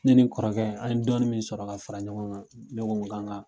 Ne ni n kɔrɔkɛ an ye dɔɔnin min sɔrɔ ka fara ɲɔgɔn kan, ne ko gan ga